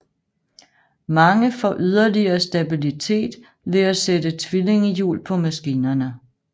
Mange får yderligere stabilitet ved at sætte tvillingehjul på maskinerne